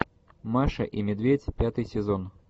маша и медведь пятый сезон